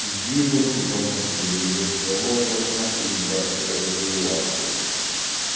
ебут сука мозг да ебут да в рот вас нахуй ебать я вообще в ахуе просто